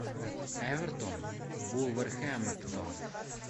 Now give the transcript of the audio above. эвертон вулверхэмптон